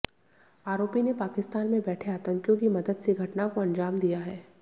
आरोपी ने पाकिस्तान में बैठे आतंकियों की मदद से घटना को अंजाम दिया है